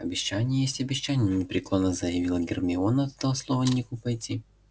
обещание есть обещание непреклонно заявила гермиона ты дал слово нику пойти на его юбилей